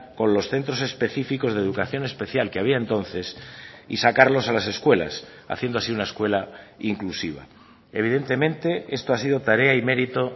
con los centros específicos de educación especial que había entonces y sacarlos a las escuelas haciendo así una escuela inclusiva evidentemente esto ha sido tarea y mérito